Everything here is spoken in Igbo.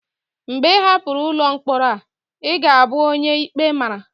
mgbe ị hapụrụ ụlọ mkpọrọ a, ị ga-abụ onye ikpe mara